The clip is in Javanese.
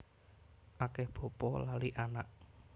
Akeh bapa lali anak